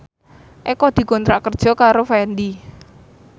Eko dikontrak kerja karo Fendi